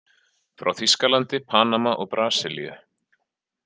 Frá Þýskalandi, Panama og Brasilíu.